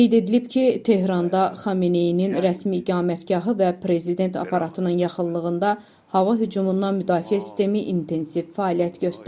Qeyd edilib ki, Tehranda Xameneyinin rəsmi iqamətgahı və prezident aparatının yaxınlığında hava hücumundan müdafiə sistemi intensiv fəaliyyət göstərir.